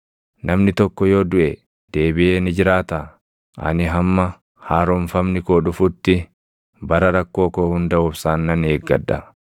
Namni tokko yoo duʼe deebiʼee ni jiraataa? Ani hamma haaromfamni koo dhufutti, bara rakkoo koo hunda obsaan nan eeggadha.